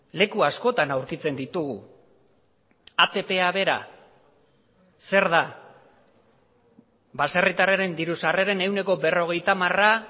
leku askotan aurkitzen ditugu atpa bera zer da baserritarraren diru sarreren ehuneko berrogeita hamara